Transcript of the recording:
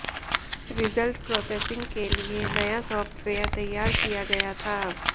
result processing के लिए नया सॉफ्टवेयर तैयार किया गया था